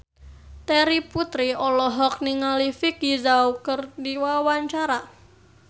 Terry Putri olohok ningali Vicki Zao keur diwawancara